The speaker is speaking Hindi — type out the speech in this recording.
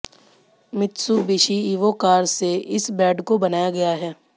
मित्सुबिशी इवो कार से इस बेड को बनाया गया है